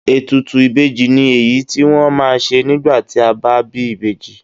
Ètùtù ìbejì ni èyí tí wọ́n ma ń ṣe nígbà tí a bá bí ìbejì.